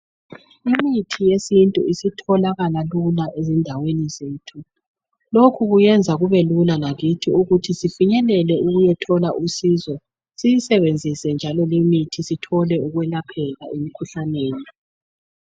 Imithi yesintu isitholakala lula ezindaweni zethu. Lokhu kuyenza kubelula lakithi ukuthi sifinyelele ukuyethola usizo siyisebenzise njalo limithi sithole ukwelapheka emikhuhlaneni.